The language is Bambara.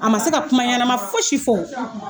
A ma se ka kuma ɲɛnama fosi fɔ.